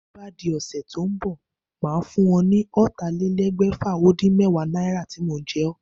Bí ó bá di ó̩sè̩ tó ń bò̩, màá fún o̩ ní ó̩tàlélé̩gbè̩fà-ó-dín-méwàá náírà tí mo je̩ ó̩